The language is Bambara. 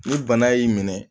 Ni bana y'i minɛ